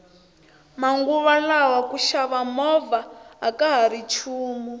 manguva lawa ku xava movha akahari nchumu